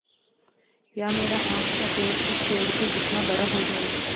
या मेरा आम का पेड़ इस पेड़ के जितना बड़ा हो जायेगा